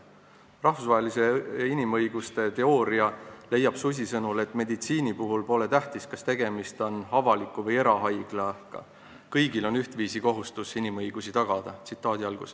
Susi sõnul leiab rahvusvaheline inimõiguste teooria, et meditsiinis pole tähtis, kas tegemist on avaliku või erahaiglaga, kõigil on ühtviisi kohustus inimõigusi tagada.